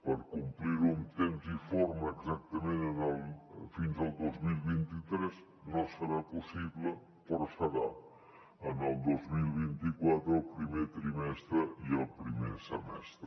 per complir ho en temps i forma exactament fins al dos mil vint tres no serà possible però ho serà el dos mil vint quatre al primer trimestre i al primer semestre